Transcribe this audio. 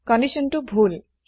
কন্দিচ্যনটো ভূল